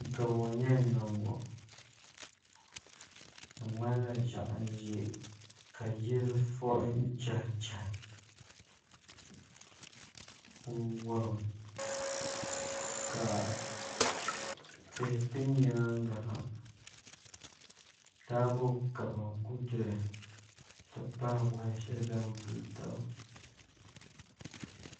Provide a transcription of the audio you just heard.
Gamo n yɛn niŋ ŋɔ di ŋmanila ʒiɛɣu n ʒɛ ka yili fui chɛhi chɛhi n wurim ka tihi bɛ nyaanga ha taabo kaba n ku doya n ti pahi woya shɛli din vuli taba